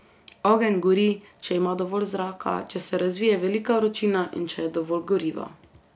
Ogenj gori, če ima dovolj zraka, če se razvije velika vročina in če je dovolj goriva.